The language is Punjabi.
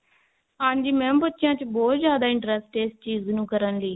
ਹਾਂਜੀ mam ਬੱਚਿਆਂ ਚ ਬਹੁਤ ਜਿਆਦਾ interest ਹੈ ਇਸ ਚੀਜ਼ ਨੂੰ ਕਰਨ ਲਈ